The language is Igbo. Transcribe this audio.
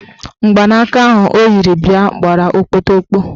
Mgbanaka ahụ o yiri bịa gbara okpotokpo.